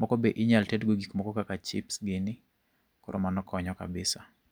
Moko be inyalo tedgo gik moko kaka chips gini, koro mano konyo kabisa.